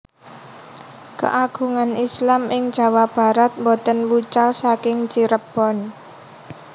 Keagungan Islam ing Jawa Barat boten wucal saking Cirebon